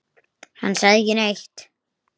Hann sagði ekki neitt.